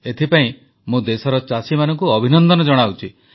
ଏଥିପାଇଁ ମୁଁ ଦେଶର ଚାଷୀମାନଙ୍କୁ ଅଭିନନ୍ଦନ ଜଣାଉଛି